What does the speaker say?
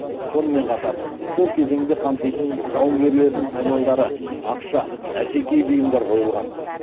сонымен қатар сол кезеңді қамтитын жауынгерлердің саймандары ақша әшекей бұйымдар қойылған